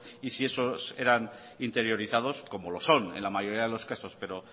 y si esos eran interiorizados como lo son en la mayoría de los casos pero